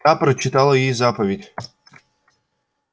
та прочитала ей заповедь